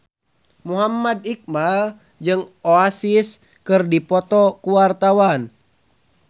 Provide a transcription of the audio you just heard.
Muhammad Iqbal jeung Oasis keur dipoto ku wartawan